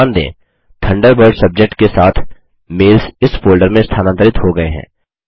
ध्यान दें Thunderbird subject के साथ मेल्स इस फोल्डर में स्थानांतरित हो गये हैं